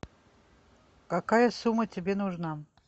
какая сумма тебе нужна